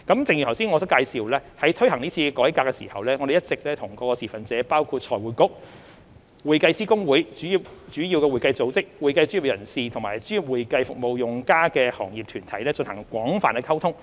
正如我剛才所介紹，在推行是次改革時，政府一直與各持份者包括財匯局、會計師公會、主要會計組織、會計專業人士及專業會計服務用家的行業團體，進行廣泛溝通。